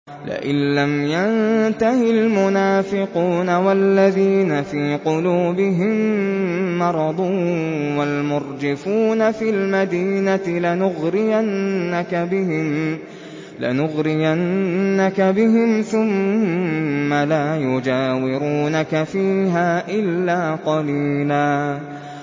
۞ لَّئِن لَّمْ يَنتَهِ الْمُنَافِقُونَ وَالَّذِينَ فِي قُلُوبِهِم مَّرَضٌ وَالْمُرْجِفُونَ فِي الْمَدِينَةِ لَنُغْرِيَنَّكَ بِهِمْ ثُمَّ لَا يُجَاوِرُونَكَ فِيهَا إِلَّا قَلِيلًا